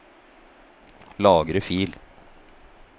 Lagre fil